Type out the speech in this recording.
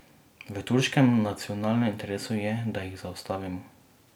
V turškem nacionalnem interesu je, da jih zaustavimo.